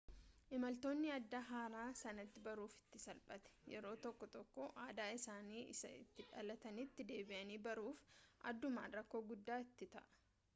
imaltoonni aadaa haaraa sanatti baruuf itti salphate yeroo tokko tokko aadaa isaanii isa itti dhalatanitti deebi'anii baruuf addumaan rakkoo guddaa itti ta'a